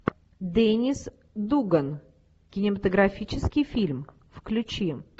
деннис дуган кинематографический фильм включи